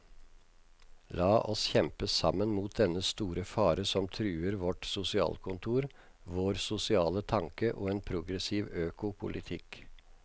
La oss kjempe sammen mot dennne store fare som truer vårt sosialkontor, vår sosiale tanke og en progressiv økopolitikk.